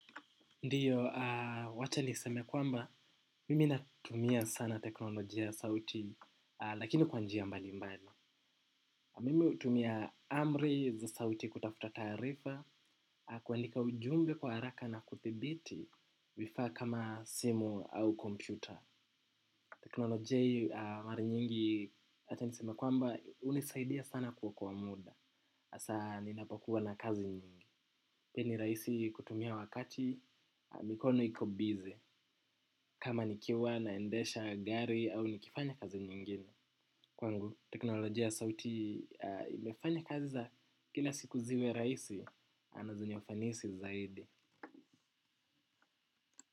Ndiyo, wacha nisemekwamba, mimi natumia sana teknolojia sauti, lakini kwa njia mbali mbali. Mimi hutumia amri za sauti kutafuta taarifa, kuandika ujumbe kwa haraka na kuthibiti, vifaa kama simu au kompyuta. Teknolojia marinyingi, wacha niseme kwamba, unisaidia sana kuokoa muda, asa ninapokua na kazi nyingi. Pia ni rahisi kutumia wakati mikono iko busy kama nikiwa naendesha gari au nikifanya kazi nyingine. Kwangu teknolojia ya sauti imefanya kazi za kila siku ziwe rahisi na zenye ufanisi zaidi.